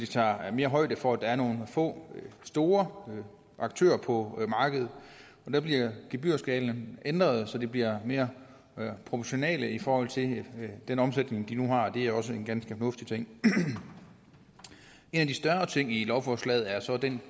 tager højde for at der er nogle få store aktører på markedet der bliver gebyrskalaen ændret så den bliver mere proportional i forhold til den omsætning de nu har det er også en ganske fornuftig ting en af de større ting i lovforslaget er så den